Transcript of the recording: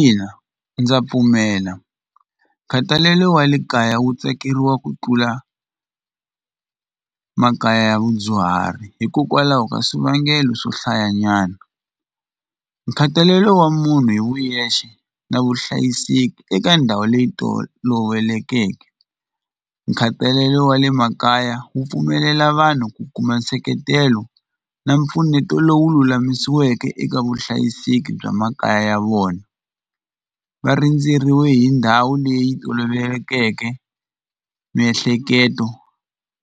Ina ndza pfumela nkhatalelo wa le kaya wu tsakeriwa ku tlula makaya ya vadyuhari hikokwalaho ka swivangelo swo hlaya nyana nkhathalelo wa munhu hi vuyexe na vuhlayiseki eka ndhawu leyi tolovelekeke nkhatalelo wa le makaya wu pfumelela vanhu ku kuma nseketelo na mpfuneto lowu lulamisiweke eka vuhlayiseki bya makaya ya vona va rindzeriwe hi ndhawu leyi tolovelekeke miehleketo